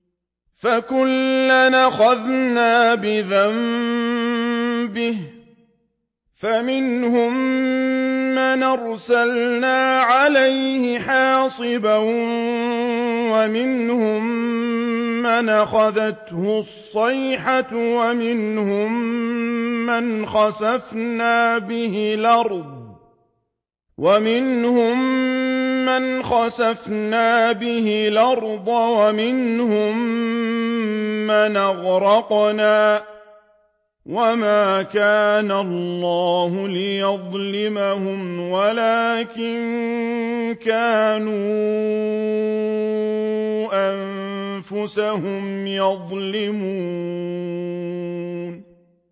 فَكُلًّا أَخَذْنَا بِذَنبِهِ ۖ فَمِنْهُم مَّنْ أَرْسَلْنَا عَلَيْهِ حَاصِبًا وَمِنْهُم مَّنْ أَخَذَتْهُ الصَّيْحَةُ وَمِنْهُم مَّنْ خَسَفْنَا بِهِ الْأَرْضَ وَمِنْهُم مَّنْ أَغْرَقْنَا ۚ وَمَا كَانَ اللَّهُ لِيَظْلِمَهُمْ وَلَٰكِن كَانُوا أَنفُسَهُمْ يَظْلِمُونَ